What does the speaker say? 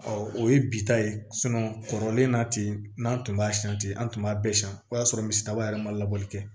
o ye bi ta ye kɔrɔlen na ten n'an tun b'a san ten an tun b'a bɛɛ san o y'a sɔrɔ misidaba yɛrɛ ma labɔli kɛ